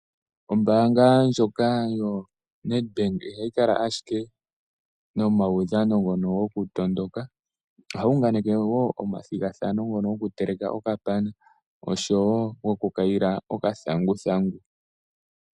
Ombaanga ndjoka yaNedbank ihayi kala ashike nomaudhano ngono gokutondoka, ohayi unganeke wo omathigathanao gokuteleka okapana osho wo gokukayila okathanguthangu.